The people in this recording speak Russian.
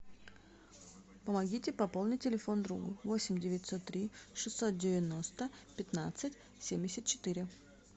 помогите пополнить телефон другу восемь девятьсот три шестьсот девяносто пятнадцать семьдесят четыре